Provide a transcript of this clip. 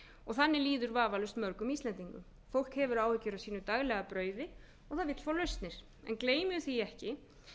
og þannig liður vafalaust mörgum íslendingum fólk hefur áhyggjur af sínu daglega brauði og það vill fá lausnir en gleymum því ekki